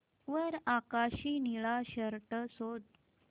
वर आकाशी निळा शर्ट शोध